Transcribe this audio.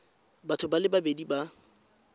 batho ba le babedi ba